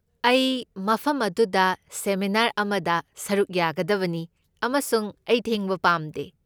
ꯑꯩ ꯃꯐꯝ ꯑꯗꯨꯗ ꯁꯦꯃꯤꯅꯥꯔ ꯑꯃꯗ ꯁꯔꯨꯛ ꯌꯥꯒꯗꯕꯅꯤ, ꯑꯃꯁꯨꯡ ꯑꯩ ꯊꯦꯡꯕ ꯄꯥꯝꯗꯦ꯫